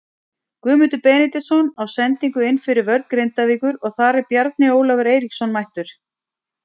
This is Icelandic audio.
Galdur kunni þetta, það höfðu líka verið holukubbar á gamla leikskólanum hans.